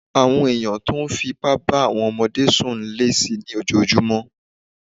Àwọn èèyàn tó n fí ipá bá àwọn ọmọdé sùn ń lé si ní ojojúmọ́